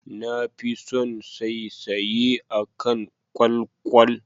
Na fi son saisaye akan kwalkwal.